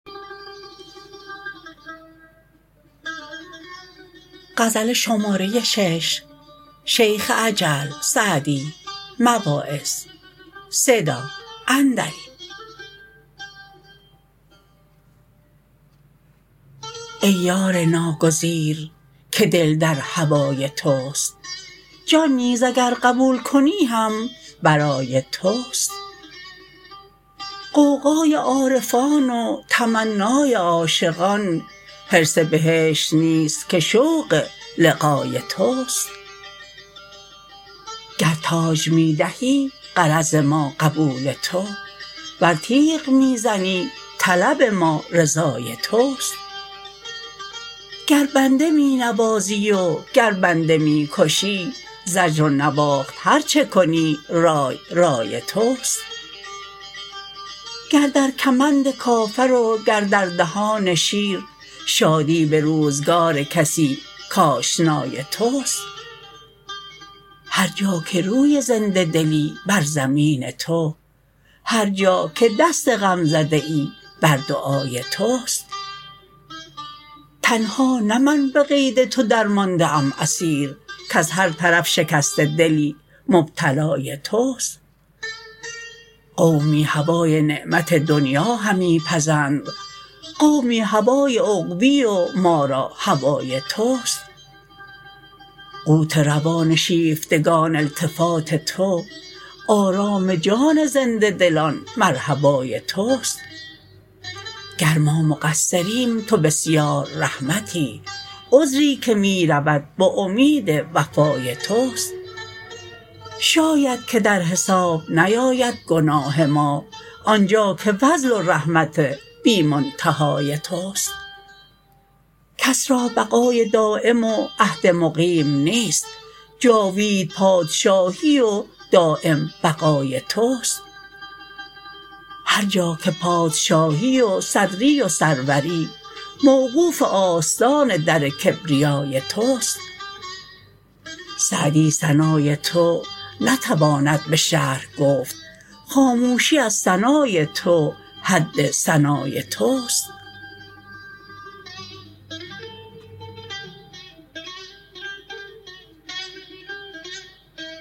ای یار ناگزیر که دل در هوای توست جان نیز اگر قبول کنی هم برای توست غوغای عارفان و تمنای عاشقان حرص بهشت نیست که شوق لقای توست گر تاج می دهی غرض ما قبول تو ور تیغ می زنی طلب ما رضای توست گر بنده می نوازی و گر بنده می کشی زجر و نواخت هر چه کنی رای رای توست گر در کمند کافر و گر در دهان شیر شادی به روزگار کسی کآشنای توست هر جا که روی زنده دلی بر زمین تو هر جا که دست غمزده ای بر دعای توست تنها نه من به قید تو درمانده ام اسیر کز هر طرف شکسته دلی مبتلای توست قومی هوای نعمت دنیا همی پزند قومی هوای عقبی و ما را هوای توست قوت روان شیفتگان التفات تو آرام جان زنده دلان مرحبای توست گر ما مقصریم تو بسیار رحمتی عذری که می رود به امید وفای توست شاید که در حساب نیاید گناه ما آنجا که فضل و رحمت بی منتهای توست کس را بقای دایم و عهد مقیم نیست جاوید پادشاهی و دایم بقای توست هر جا که پادشاهی و صدری و سروری موقوف آستان در کبریای توست سعدی ثنای تو نتواند به شرح گفت خاموشی از ثنای تو حد ثنای توست